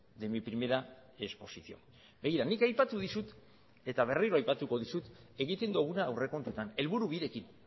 de mi primera exposición begira nik aipatu dizut eta berriro aipatuko dizut egiten duguna aurrekontuetan helburu birekin